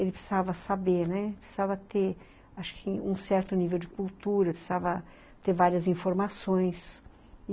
Ele precisava saber, né, precisava ter acho que um certo nível de cultura, precisava ter várias informações.